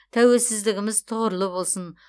тәуелсіздігіміз тұғырлы болсын